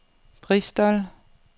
Bristol